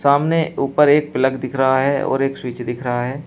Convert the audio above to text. सामने ऊपर एक प्लग दिख रहा है और एक स्विच दिख रहा है।